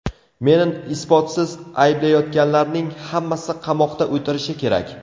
Meni isbotsiz ayblayotganlarning hammasi qamoqda o‘tirishi kerak.